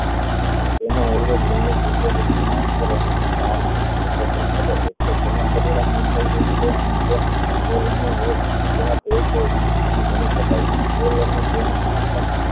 તેનો પરિણામ નિમ્બાય હોય છે અને ગણો શકાય છે